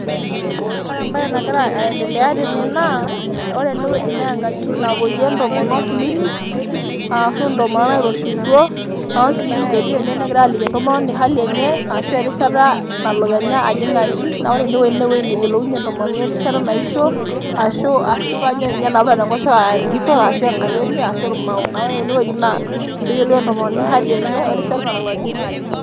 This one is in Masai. Ore embae nagira aendelea tene naa ore ene wueji naa ewueji napoyie entomonok kilik, aashu intomonok nairoshiutuo, neeku kilinik etii tene negirae aaliki entomononi ehali enye aashu erishata nalo Kenyaa ajing' aji naa ore ene wueji neyiolounyie entomononi erishata naisho aashu kanyio nabo eeta Enkoshoke entito enaa enkayioni ashu irmao, neaku ore ene wueji naa peeyiolou entomoni ehali enye werishata nalo ajing' aji.